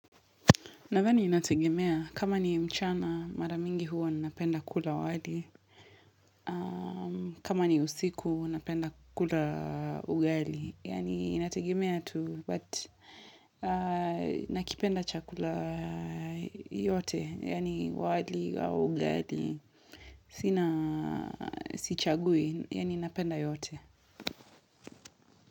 Nadhani inategemea, kama ni mchana, mara mingi huwa ninapenda kula wali. Kama ni usiku, napenda kula ugali. Yani inategemea tu, but nakipenda chakula yote, yani wali au ugali, sina sichagui, yani napenda yote.